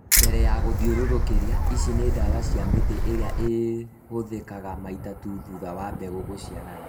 Mbere ya gũthĩũrũrũkĩria. Ici nĩ ndawa cia mĩtĩ ĩrĩa ĩhũthĩkaga maita tu thutha wa mbegũ gũciarana